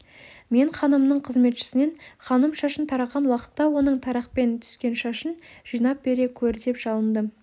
мен ханымның қызметшісінен ханым шашын тараған уақытта оның тарақпен түскен шашын жинап бере көр деп жалындым